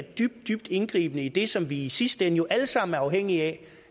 dybt dybt indgribende i det som vi i sidste ende jo alle sammen er afhængige af